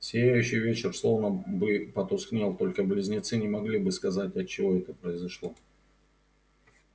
сияющий вечер словно бы потускнел только близнецы не могли бы сказать отчего это произошло